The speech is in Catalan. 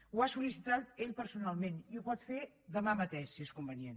ho ha sol·licitat ell personalment i ho pot fer demà mateix si és convenient